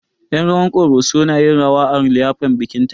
Yen rawar ƙoroso na yin rawar a liyafar bikin ta